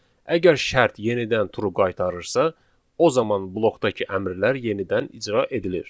Əgər şərt yenidən true qaytarırsa, o zaman blokdakı əmrlər yenidən icra edilir.